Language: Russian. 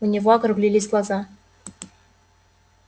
у него округлились глаза